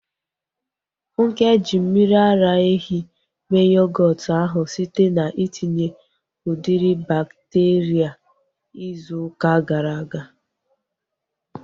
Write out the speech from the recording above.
Funke ji mmiri ara ehi mee yogọọtu ahu site na itinye udiri bakteria izu ụka gara aga